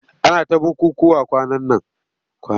Ana ta bukukkuwa kwanan nan.